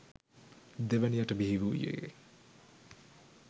දෙවැනිවට බිහිවූයේ